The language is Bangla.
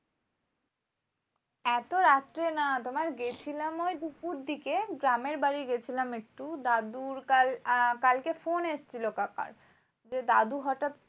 এত রাত্রে না তোমার গেছিলাম ওই দুপুর দিকে। গ্রামের বাড়ি গেছিলাম একটু। দাদুর কাল আহ কালকে ফোন এসেছিলো কাকার যে, দাদু হটাৎ